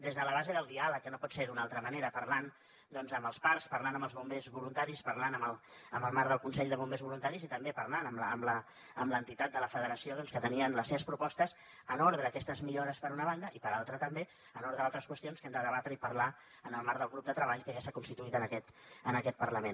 des de la base del diàleg que no pot ser d’una altra manera parlant doncs amb els parcs parlant amb els bombers voluntaris parlant en el marc del consell de bombers voluntaris i també parlant amb l’entitat de la federació que tenien les seves propostes per a aquestes millores per una banda i per altra també per altres qüestions que hem de debatre i parlar en el marc del grup de treball que ja s’ha constituït en aquest parlament